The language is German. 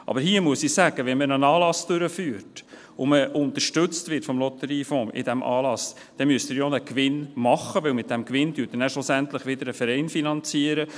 Aber hier muss ich sagen: Wenn man einen Anlass durchführt und für diesen Anlass vom Lotteriefonds unterstützt wird, dann müssen Sie ja einen Gewinn machen, weil Sie mit diesem Gewinn ja schlussendlich wieder einen Verein finanzieren;